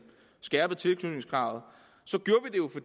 skærpede tilknytningskravet gjorde